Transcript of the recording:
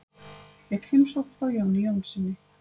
Fékk heimsókn frá Jóni Jónssyni.